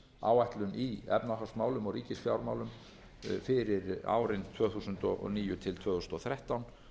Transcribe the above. áætlun í efnahagsmálum og ríkisfjármálum fyrir árin tvö þúsund og níu til tvö þúsund og þrettán